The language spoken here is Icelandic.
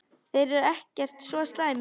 Þeir eru ekkert svo slæmir.